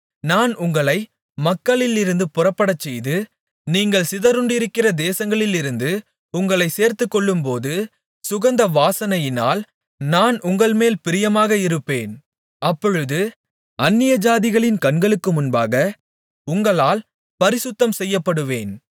நான் உங்களை மக்களிலிருந்து புறப்படச்செய்து நீங்கள் சிதறுண்டிருக்கிற தேசங்களிலிருந்து உங்களைச் சேர்த்துக்கொள்ளும்போது சுகந்த வாசனையினால் நான் உங்கள்மேல் பிரியமாக இருப்பேன் அப்பொழுது அந்நியஜாதிகளின் கண்களுக்கு முன்பாக உங்களால் பரிசுத்தம் செய்யப்படுவேன்